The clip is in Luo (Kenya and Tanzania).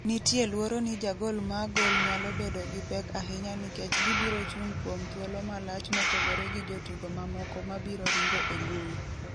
Nitie luoro ni jagol ma goal nyalo bedo gi pek ahinya nikech gibiro chung' kuom thuolo malach mopogore gi jotugo mamoko mabiro ringo e mbui."